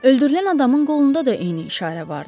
Öldürülən adamın qolunda da eyni işarə vardı.